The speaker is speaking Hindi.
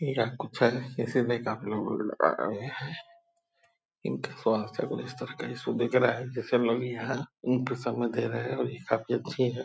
आये हैं | इनका स्वास्थ्य का कुछ इस तरह का इशू दिख रहा है जैसे लोग यहाँ यही पे समय दे रहे है और ये काफी अच्छी है ।